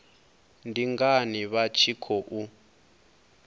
ndi ngani vha tshi khou